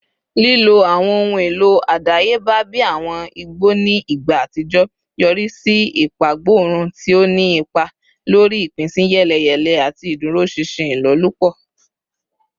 Lilo awọn ohun elo adayeba bi awọn igbo ni igba atijọ yori si ipagborun, ti o ni ipa lori ipinsiyeleyele ati iduroṣinṣin ilolupo.